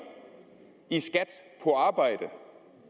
i skat på arbejde